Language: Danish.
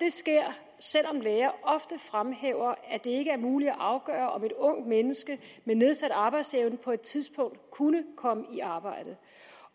det sker selv om læger ofte fremhæver at det ikke er muligt at afgøre om et ungt menneske med nedsat arbejdsevne på et tidspunkt kunne komme i arbejde